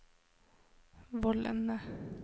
vollene